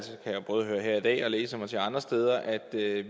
jeg både høre her i dag og læse mig til andre steder at